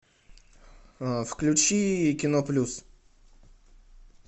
включи кино плюс